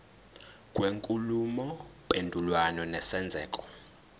kwenkulumo mpendulwano nesenzeko